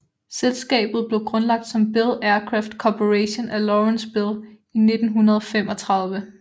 Selskabet blev grundlagt som Bell Aircraft Corporation af Lawrence Bell i 1935